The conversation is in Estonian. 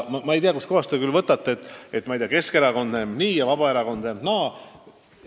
Aga ma ei tea, kust kohast te küll võtate, et Keskerakond näeb olukorda nii ja Vabaerakond näeb naa.